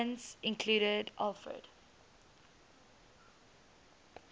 islands included alfred